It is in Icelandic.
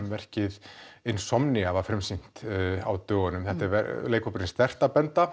verkið var frumsýnt á dögunum þetta er leikhópurinn